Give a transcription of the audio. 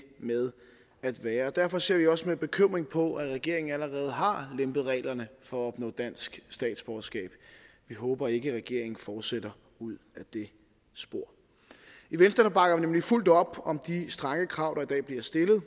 med at være derfor ser vi også med bekymring på at regeringen allerede har lempet reglerne for at opnå dansk statsborgerskab vi håber ikke at regeringen fortsætter ud ad det spor i venstre bakker vi nemlig fuldt op om de strenge krav der i dag bliver stillet